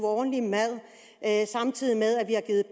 ordentlig mad samtidig med at vi har givet